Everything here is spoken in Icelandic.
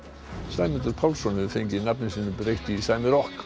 Sæmundur Pálsson hefur fengið nafni sínu breytt í sæmi rokk